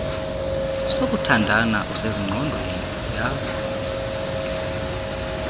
sokuthandana usezingqondweni uyazi